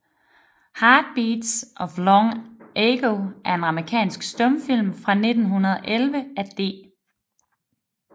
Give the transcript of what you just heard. Heart Beats of Long Ago er en amerikansk stumfilm fra 1911 af D